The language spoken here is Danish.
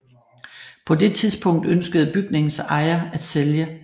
På det tidspunkt ønskede bygningens ejer at sælge